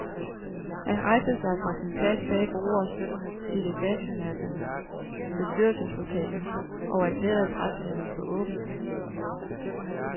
Han rejste sig fra sin plads bag bordet i det fashionable bestyrelseslokale og erklærede pressemødet for åbent.